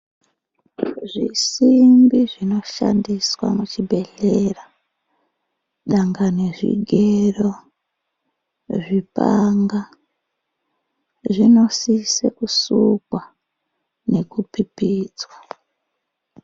Zvisimbi zvinoshandiswa muchibhedhlera, dangani zvigero zvipanga zvinosise kusukwa nekupipidzwa.